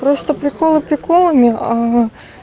просто приколы приколами